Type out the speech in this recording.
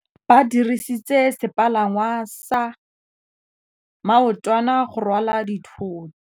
Ba dirisitse sepalangwasa maotwana go rwala dithôtô.